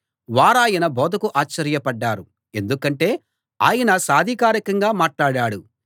వారాయన బోధకు ఆశ్చర్యపడ్డారు ఎందుకంటే ఆయన సాధికారికంగా మాట్లాడాడు